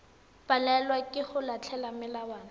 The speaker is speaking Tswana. palelwa ke go latela melawana